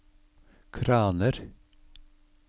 kraner